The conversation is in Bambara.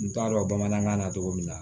N t'a dɔn bamanankan na togo min na